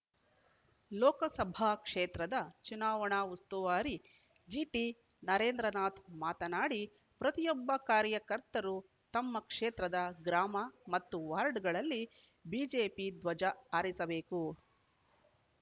ಲೋಕಸಭಾ ಕ್ಷೇತ್ರದ ಚುನಾವಣಾ ಉಸ್ತುವಾರಿ ಜಿಟಿನರೇಂದ್ರನಾಥ್‌ ಮಾತನಾಡಿ ಪ್ರತಿಯೊಬ್ಬ ಕಾರ್ಯಕರ್ತರು ತಮ್ಮ ಕ್ಷೇತ್ರದ ಗ್ರಾಮ ಮತ್ತು ವಾರ್ಡ್‌ಗಳಲ್ಲಿ ಬಿಜೆಪಿ ಧ್ವಜ ಹಾರಿಸಬೇಕು